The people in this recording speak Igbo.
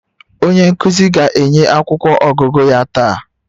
Onye nkuzi ga-enye akwụkwọ ọgụgụ ya taa